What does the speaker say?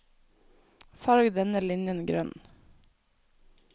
Farg denne linjen grønn